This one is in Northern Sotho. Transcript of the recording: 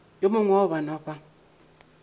yo mongwe wa bana ba